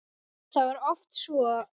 Það var oft svo.